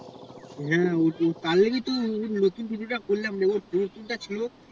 হ্যা ঐতো তার লেগিত তো টুপিটা খুলে নতুন টুপিটা খুলে